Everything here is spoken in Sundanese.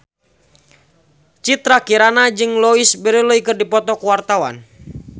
Citra Kirana jeung Louise Brealey keur dipoto ku wartawan